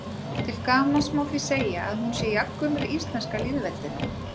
Til gamans má því segja að hún sé jafngömul íslenska lýðveldinu.